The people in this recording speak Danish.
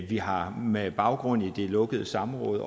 vi har med baggrund i det lukkede samråd